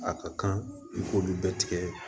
A ka kan i k'olu bɛɛ tigɛ